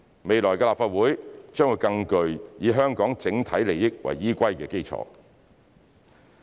未來的立法會將會更具以香港整體利益為依歸的基礎。